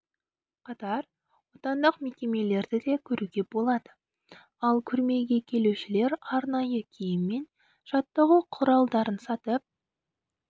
қатар отандық мекемелерді де көруге болады ал көрмеге келушілер арнайы киім мен жаттығу құралдарын сатып